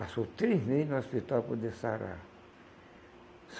Passou três meses no hospital para poder sarar.